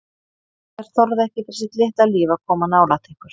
Þeir þorðu ekki fyrir sitt litla líf að koma nálægt ykkur.